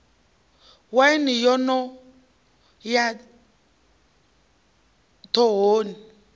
waini yo no ya ḓhohoni